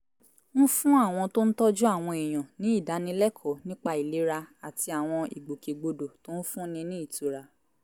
ń fún àwọn tó ń tọ́jú àwọn èèyàn ní ìdánilẹ́kọ̀ọ́ nípa ìlera àti àwọn ìgbòkègbodò tó ń fúnni ní ìtura